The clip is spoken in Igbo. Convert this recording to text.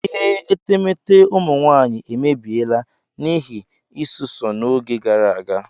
Ihe etemeete ụmụ nwaanyị emebiela n'ihi isụsọ n'oge gara aga.